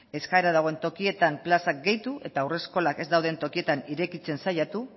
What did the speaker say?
eskaera dagoen tokietan plazak gehitu eta haurreskolak ez dauden tokietan irekitzen saiatu